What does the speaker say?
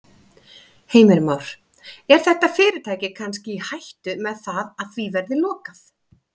Heimir Már: Er þetta fyrirtæki kannski í hættu með það að því verði lokað?